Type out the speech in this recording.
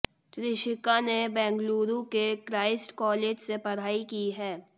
त्रिशिका ने बेंगलुरु के Christ College से पढ़ाई की है